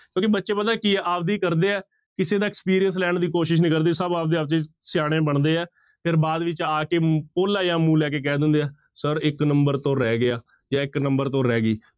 ਕਿਉਂਕਿ ਬੱਚੇ ਪਤਾ ਕੀ ਆਪਦੀ ਕਰਦੇ ਹੈ, ਕਿਸੇ ਦਾ experience ਲੈਣ ਦੀ ਕੋਸ਼ਿਸ਼ ਨਹੀਂ ਕਰਦੇ, ਸਭ ਆਪਦੇ ਆਪ ਚ ਹੀ ਸਿਆਣੇ ਬਣਦੇ ਹੈ ਫਿਰ ਬਾਅਦ ਵਿੱਚ ਆ ਕੇ ਭੋਲਾ ਜਿਹਾ ਮੂੰਹ ਲੈ ਕੇ ਕਹਿ ਦਿੰਦੇ ਆ, ਸਰ ਇੱਕ number ਤੋਂ ਰਹਿ ਗਿਆ ਜਾਂ ਇੱਕ number ਤੋਂ ਰਹਿ ਗਈ।